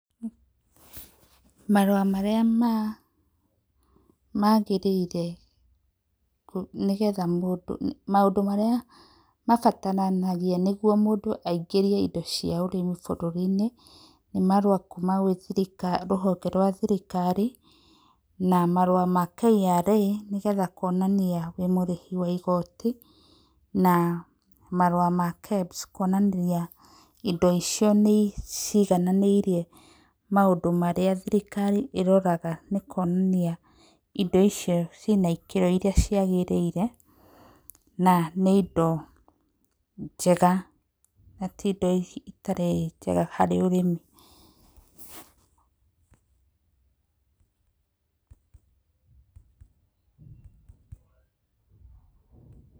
Marũa marĩa ma maagĩrĩire nĩ getha mũndũ maũndũ marĩa mabatarangĩa nĩ gũo mũndũ cia ũrĩmi bũrũri inĩ nĩ marũa kũma thĩrĩkarĩ rũhonge rwa thĩrĩkarĩ, na marũa ma KRA nĩ getha kũonanĩa wĩ mũrĩhĩ wa igoti na marũa ma KEBS kũonania indo icio nĩciiganĩrĩrĩe marĩa thĩrĩkarĩ ĩroraga gũkonĩa ĩndo icio na ĩkĩro iria ciagĩrĩire na indo njega na tĩ ĩndo ĩtarĩ njega harĩ ũrĩmi.